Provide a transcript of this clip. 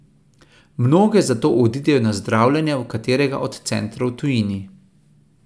Mnoge zato odidejo na zdravljenje v katerega od centrov v tujini.